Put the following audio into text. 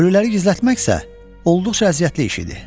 Ölüləri gizlətmək isə olduqca əziyyətli iş idi.